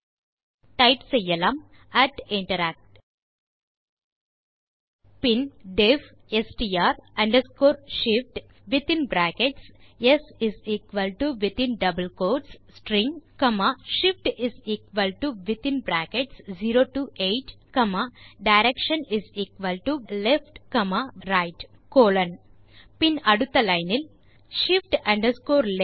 type செய்யலாம் interact பின் def str shiftsstringஷிஃப்ட் directionleftரைட் பின் அடுத்த லைன்